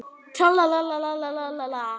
Er byrjun ykkar framar vonum?